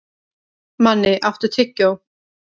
Manni, áttu tyggjó?